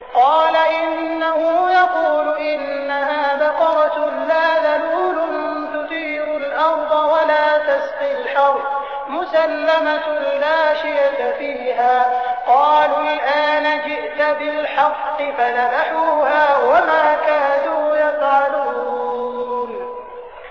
قَالَ إِنَّهُ يَقُولُ إِنَّهَا بَقَرَةٌ لَّا ذَلُولٌ تُثِيرُ الْأَرْضَ وَلَا تَسْقِي الْحَرْثَ مُسَلَّمَةٌ لَّا شِيَةَ فِيهَا ۚ قَالُوا الْآنَ جِئْتَ بِالْحَقِّ ۚ فَذَبَحُوهَا وَمَا كَادُوا يَفْعَلُونَ